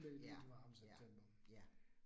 Ja, ja ja